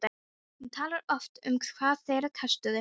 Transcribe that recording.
Hún talar oft um hvað þeir kostuðu.